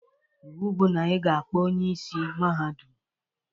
Iwu bụ na ị ga-akpọ onye isi Mahadum!